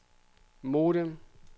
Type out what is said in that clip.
modem